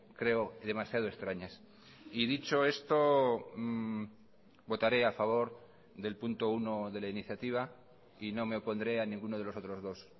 creo demasiado extrañas y dicho esto votaré a favor del punto uno de la iniciativa y no me opondré a ninguno de los otros dos